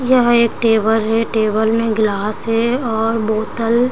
यह एक टेबल है टेबल मे गिलास है और बोतल--